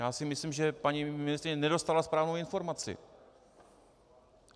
Já si myslím, že paní ministryně nedostala správnou informaci.